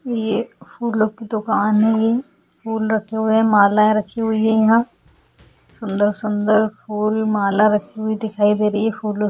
ये फूलों की दुकान है ये फूल रखे हुए हैं मालाएँ रखी हुई है यहाँ सुंदर-सुंदर फूल माला रखी हुई दिखाई दे रही है फूलों --